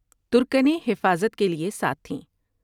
تر کنیں حفاظت کے لیے ساتھ تھیں ۔